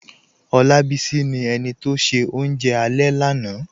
Olábísí ni ènì tó ṣẹ̀ ọ̀unje alẹ̀ lánà